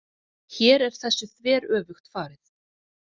Hér er þessu þveröfugt farið.